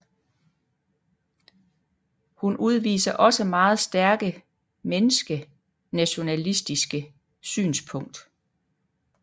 Hun udviser også meget stærke menneske nationalistiske synspunkt